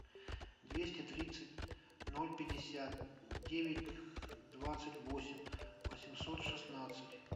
двести тридцать ноль пятьдесят девять двадцать восемь восемьсот шестнадцать